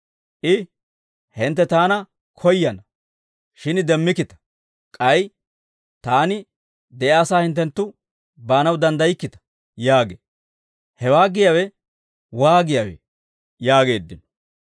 I, ‹Hintte taana koyyana; shin demmikkita› k'ay, ‹Taani de'iyaasaa hinttenttu baanaw danddaykkita› yaagee; hewaa giyaawe waagiyaawee?» yaageeddino.